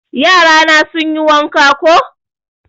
Yara na sun yi wanka koh